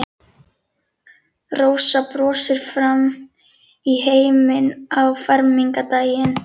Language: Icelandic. Rósa brosir framan í heiminn á fermingardaginn.